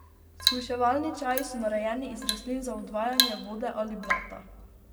Shujševalni čaji so narejeni iz rastlin za odvajanje vode ali blata.